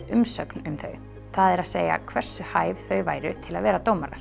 umsögn um þau það er að segja hversu hæf þau væru til að vera dómarar